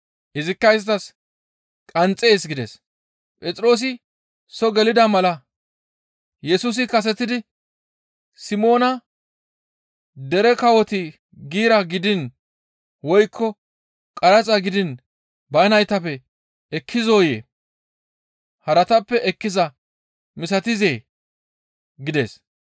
Izikka isttas, «Qanxxees» gides. Phexroosi soo gelida mala Yesusi kasetidi, «Simoona dere kawoti giira gidiin woykko qaraxa gidiin ba naytappe ekkizoyee? Haratappe ekkiza misatizee?» gides.